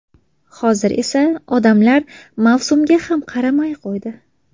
Hozir esa odamlar mavsumga ham qaramay qo‘ydi.